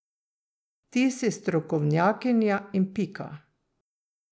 Ti si strokovnjakinja in pika.